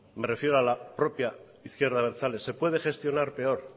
me refiero a la propia izquierda abertzale se puede gestionar peor